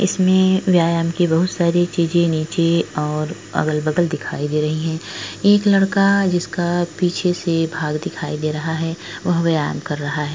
इसमें व्यायाम की बहोत सारी चीजे नीचे और अगल-बगल दिखाई दे रही हैं। एक लड़का जिसका पिछे से भाग दिखाई दे रहा है। वह व्यायाम कर रहा है।